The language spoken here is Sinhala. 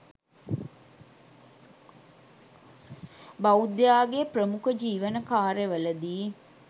බෞද්ධයාගේ ප්‍රමුඛ ජීවන කාර්යවලදී